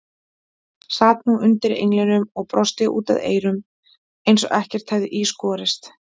Sat nú undir englinum og brosti út að eyrum eins og ekkert hefði í skorist.